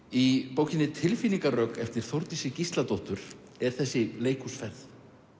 í bókinni tilfinningarök eftir Þórdísi Gísladóttur er þessi leikhúsferð